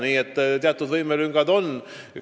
Nii et teatud võimekuse lüngad on.